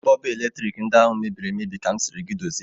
Bọlbụ eletrik ndị ahụ mebiri emebi ka m sịrị gị dozie